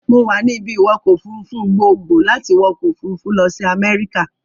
Mo wà ní ibi-ìwọkọ̀-òfurufú gboogbo láti wọ ọkọ-òfurufú lọ sí America.